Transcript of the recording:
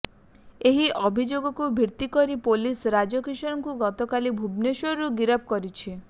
ଏହି ଅଭିଯୋଗକୁ ଭିତ୍ତି କରି ପୋଲିସ ରାଜ କିଶୋରଙ୍କୁ ଗତକାଲି ଭୁବନେଶ୍ୱରରୁ ଗିରଫ କରିଛି